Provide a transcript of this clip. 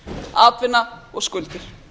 atvinna og skuldir